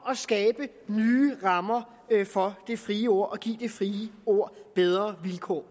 at skabe nye rammer for det frie ord og give det frie ord bedre vilkår